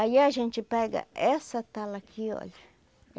Aí a gente pega essa tala aqui, olha.